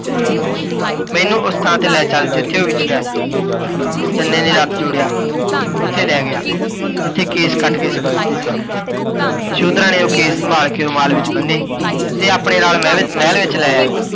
ਮੈਨੂੰ ਓਸ ਥਾਂ ਤੇ ਲੈ ਚੱਲ ਜਿੱਥੇ ਓਹ ਵਿੱਛੜਿਆ ਸੀ। ਚੰਨੇ ਨੇ ਰੱਥ ਜੋੜਿਆ, ਓੱਥੇ ਲੈ ਗਿਆ, ਜਿੱਥੇ ਕੇਸ ਕੱਟ ਕੇ ਸੁੱਟ ਦਿੱਤੇ ਸਨ। ਯਸ਼ੋਧਰਾ ਨੇ ਓਹ ਕੇਸ ਸੰਭਾਲ ਕੇ ਰੁਮਾਲ ਵਿੱਚ ਬੰਨੇ, ਤੇ ਆਪਣੇ ਨਾਲ ਮਹਿਲ ਮਹਿਲ ਵਿੱਚ ਲੈ ਆਈ,